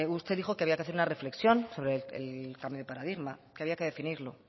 usted dijo que había que hacer una reflexión sobre el cambio de paradigma que había que definirlo